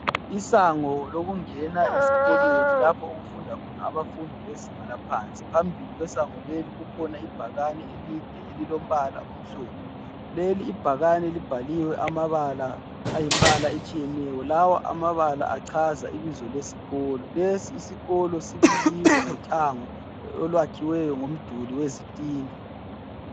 Isango lokungena esikolweni lapho okufunda khona abafundi bezinga laphansi. Phambili kwesango leli kukhona ibhakani elide elilombala omhlophe , leli ibhakani libhaliwe amabala ayimbala etshiyeneyo. Lawa amabala achaza ibizo lesikolo. Lesi isikolo sibiyiwe ngothango olwakhiwe ngomduli wezitina.